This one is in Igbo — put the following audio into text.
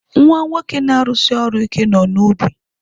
Nwa nwoke na-arụsi ọrụ ike nọ n'ubi.